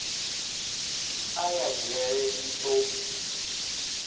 a ya dzhele ni do